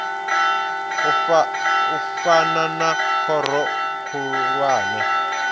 u fana na khoro khulwane